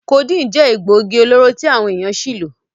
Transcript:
Codeine je egbogi-oloro ti awon eyan si lo.